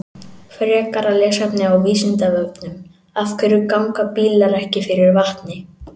Frekara lesefni á Vísindavefnum: Af hverju ganga bílar ekki fyrir vatni?